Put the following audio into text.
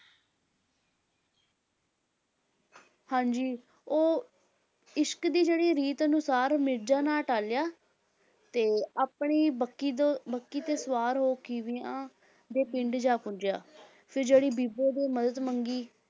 ਹਾਂਜੀ ਉਹ ਇਸ਼ਕ ਦੀ ਜਿਹੜੀ ਰੀਤ ਅਨੁਸਾਰ ਮਿਰਜ਼ਾ ਨਾ ਟਲਿਆ ਤੇ ਆਪਣੀ ਬੱਕੀ ਤੋਂ ਬੱਕੀ ਤੇ ਸਵਾਰ ਹੋ ਖੀਵਿਆਂ ਦੇ ਪਿੰਡ ਜਾ ਪਹੁੰਚਿਆ ਫਿਰ ਜਿਹੜੀ ਬੀਬੋ ਤੋਂ ਮਦਦ ਮੰਗੀ